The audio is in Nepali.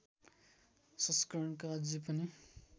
संस्करणका अझै पनि